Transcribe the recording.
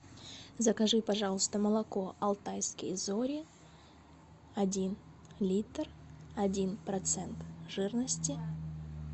закажи пожалуйста молоко алтайские зори один литр один процент жирности